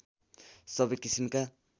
सबै किसिमका